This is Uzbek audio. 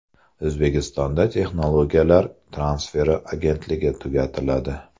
O‘zbekistonda Texnologiyalar transferi agentligi tugatiladi.